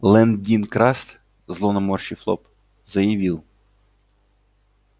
лэн дин краст зло наморщив лоб заявил